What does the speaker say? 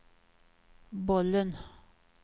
bollen